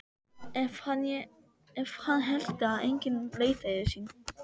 Ef hann héldi að enginn leitaði sín.